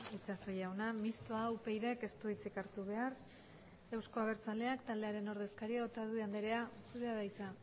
itxaso jauna mistoa upyd taldeak ez du hitzik hartu behar euzko abertzaleak taldearen ordezkaria den otadui andereak dauka hitza